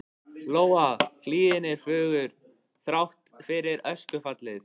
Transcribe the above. Lóa: Hlíðin er fögur, þrátt fyrir öskufallið?